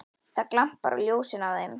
Það glampar á ljósin af þeim.